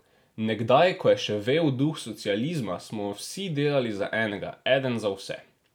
Nekdaj, ko je še vel duh socializma, smo vsi delali za enega, eden za vse.